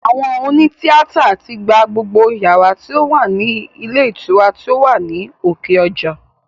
Àwọn òní tíátà tí gba gbogbo yàrá tí ó wà ní ilé ìtura tí ó wà ní òkè ọjà